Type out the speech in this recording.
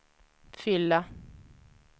fylla